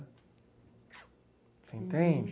Você entende?